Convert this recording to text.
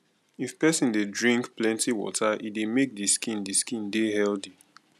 if person dey drink plenty water e dey make di skin di skin dey healthy